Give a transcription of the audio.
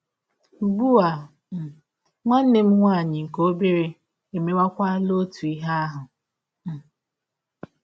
Ụgbụ um a um, nwanne m nwaanyị nke ọbere emewakwala ọtụ ihe ahụ. um